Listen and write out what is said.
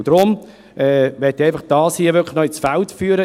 Deshalb möchte ich das einfach noch ins Feld führen.